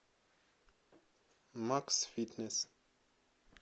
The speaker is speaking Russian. максфитнес